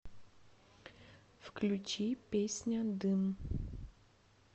включи песня дым